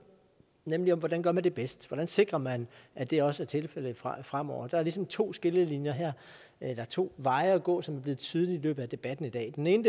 nemlig om hvordan man gør det bedst hvordan sikrer man at det også er tilfældet fremover der er ligesom to skillelinjer her eller to veje at gå som er blevet tydelige i løbet af debatten i dag den ene